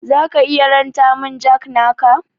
Zaka iya ranta min jack naka?